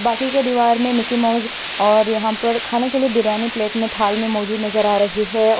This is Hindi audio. बाकी के दीवार मे मिकी माऊस और यहाँ पर खाने के लिए बिर्याणी प्लेट मे थाल मे मौजूद नजर आ रही है।